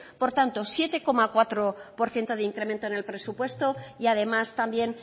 por tanto siete coma cuatro por ciento de incremento en el presupuesto y además también